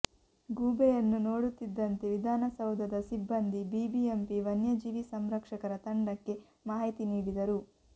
ಗೂಬೆಯನ್ನು ನೋಡುತ್ತಿದ್ದಂತೆ ವಿಧಾನಸೌಧದ ಸಿಬ್ಬಂದಿ ಬಿಬಿಎಂಪಿ ವನ್ಯಜೀವಿ ಸಂರಕ್ಷಕರ ತಂಡಕ್ಕೆ ಮಾಹಿತಿ ನೀಡಿದರು